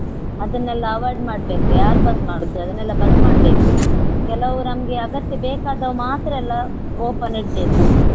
ಅದನ್ನೆಲ್ಲ avoid ಮಾಡ್ಬೇಕು ಯಾರು ಬಂದ್ ಮಾಡುವುದು ಅದನ್ನೆಲ್ಲ ಬಂದ್ ಮಾಡ್ಬೇಕು. ಕೆಲವು ನಮ್ಗೆ ಅಗತ್ಯ ಬೇಕಾದ ಮಾತ್ರ ಎಲ್ಲ open ಇಡ್ಬೇಕು.